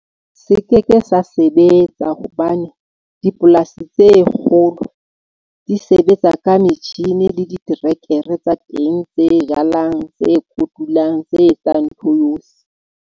Se keke sa sebetsa hobane dipolasi tse kgolo di sebetsa ka metjhini le diterekere tsa teng tse jalang tse kotulang, tse etsang ntho yohle.